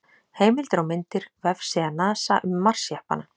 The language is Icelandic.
Heimildir og myndir: Vefsíða NASA um Mars-jeppana.